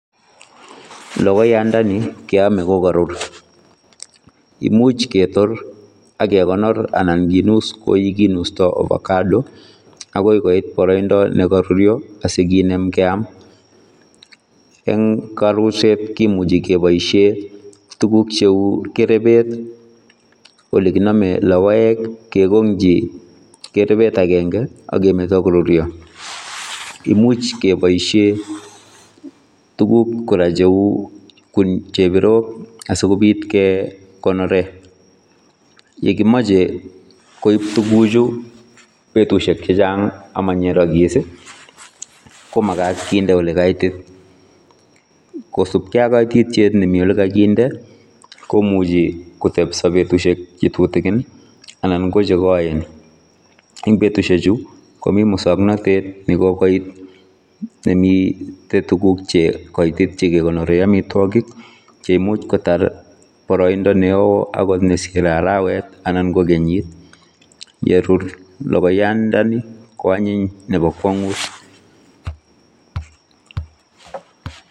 Logoiyaat ndet nii keyamee kokarur imuuch ketoor ak kegonoor anan kinuus ko ye kinustoi ovacado agoi koit baraindaa nekarur asikineem keyaam eng kanuuseet kimuchei kebaisheen tuguuk che uu kerebeet ii ole kiname logoek ii kekogyiin kerebeet agenge ii agemetaa koruria, imuuch kebaisheen tuguuk kora che uu chebirook asikobiit kegonorer ye komachei koib tuguuk chuu betusiek chechaang ama nyeragis ii komagaat kindee ole kaitit, kosupkei ak kaititiet nemii ole kagindee komuchii koteebsa betusiek che tutukiin ii anan ko chegaen ,en betusiek chuu komii musangnatet nekokoit nemii negegonoreen amitwagiik che imuuch kotaar baraindaa ne wooh akimuuch kotaar betusiek cheite araweet anan ko keenyit yerur logoiyaat ndani ko anyiin nebo kwanguut .